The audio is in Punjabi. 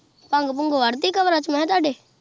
ਭੰਗ-ਭੂਗ ਵੱਢ ਤੀ ਕਬਰਾਂ ਚੋਂ ਮੈਂ ਕਿਹਾ ਤੁਹਾਡੇ।